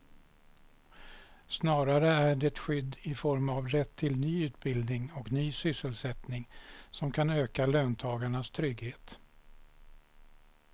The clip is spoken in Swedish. Snarare är det skydd i form av rätt till ny utbildning och ny sysselsättning som kan öka löntagarnas trygghet.